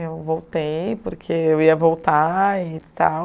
Eu voltei porque eu ia voltar e tal.